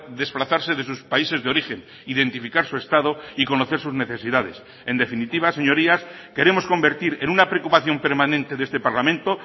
desplazarse de sus países de origen identificar su estado y conocer sus necesidades en definitiva señorías queremos convertir en una preocupación permanente de este parlamento